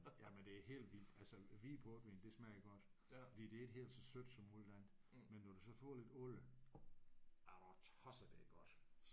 Jamen det er helt vildt! Altså hvid portvin det smager godt fordi det er ikke helt så sødt som alt det andet men når det så får lidt alder er du tosset det er godt!